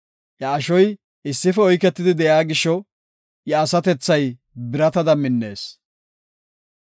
Iya ashoy issife oyketidi de7iya gisho, iya asatethay biratada minnees.